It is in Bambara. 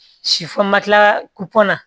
na